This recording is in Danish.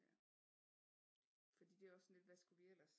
Ja fordi det er også sådan lidt hvad skulle vi ellers